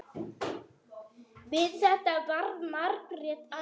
Við þetta varð Margrét æf.